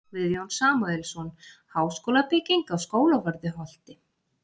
Guðjón Samúelsson: Háskólabygging á Skólavörðuholti.